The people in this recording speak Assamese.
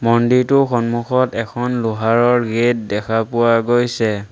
মন্দিৰটোৰ সন্মুখত এখন লোহাৰৰ গেট দেখা পোৱা গৈছে।